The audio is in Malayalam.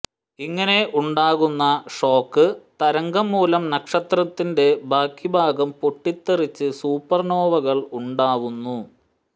ഇങ്ങനെ ഉണ്ടാവുന്ന ഷോക്ക് തരംഗം മൂലം നക്ഷത്രത്തിന്റെ ബാക്കിഭാഗം പൊട്ടിത്തെറിച്ച് സൂപ്പർനോവകൾ ഉണ്ടാവുന്നു